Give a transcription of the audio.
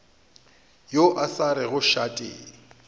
yo a sa rego šate